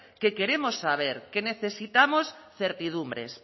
que queremos saber que necesitamos certidumbres